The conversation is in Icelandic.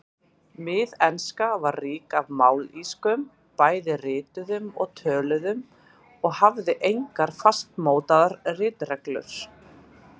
Miðenska var rík af mállýskum, bæði rituðum og töluðum, og hafði engar fastmótaðar ritreglur.